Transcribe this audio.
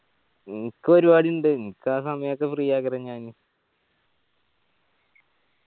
ഇൻക്ക് പരുവാടി ഇണ്ട് ഇൻക്ക് ആ സമയത്ത് free ഞാന്